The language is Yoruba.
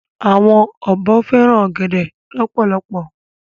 Awòn òbò fèrán ògèdè lòpòlòpò